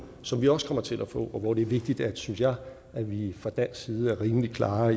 som vi også kommer til at få og hvor det er vigtigt synes jeg at vi fra dansk side er rimelig klare